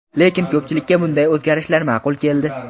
Lekin ko‘pchilikka bunday o‘zgarishlar ma’qul keldi.